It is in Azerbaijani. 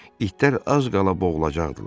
İtlər az qala boğulacaqdılar.